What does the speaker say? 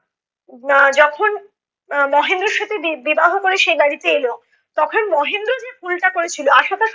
আহ যখন আহ মহেন্দ্রর সাথে বি~ বিবাহ করে সে এই বাড়িতে এলো তখন মহেন্দ্র যে ভুলটা করেছিলো আশা তার